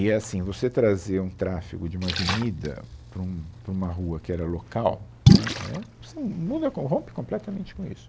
E é assim, você trazer um tráfego de uma avenida para um, para uma rua que era local, né, é, assim, muda com, rompe completamente com isso.